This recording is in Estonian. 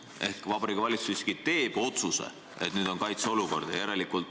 Ehk Vabariigi Valitsus siiski teeb otsuse, et nüüd on kaitseolukord.